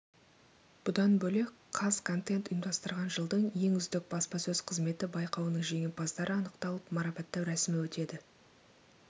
бұдан бөлек қазконтент ұйымдастырған жылдың ең үздік баспасөз қызметі байқауының жеңімпаздары анықталып марапаттау рәсімі өтеді